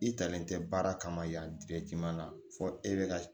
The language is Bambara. I talen tɛ baara kama yan fɔ e bɛ ka